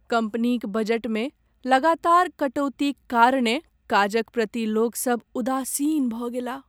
कम्पनीक बजटमे लगातार कटौतीक कारणेँ काजक प्रति लोकसभ उदासीन भऽ गेलाह।